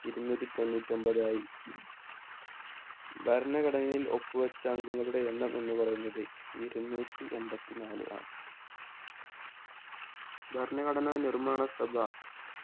ഇരുന്നൂറ്റി തൊഞ്ഞുറ്റൊമ്പതായി ഭരണഘടനയിൽ ഒപ്പു വെച്ച അംഗങ്ങളുടെ എണ്ണം എന്ന് പറയുന്നത് ഇരുന്നൂറ്റി എമ്പത്തി നാല് അ ഭരണഘടനാ നിർമ്മാണ സഭ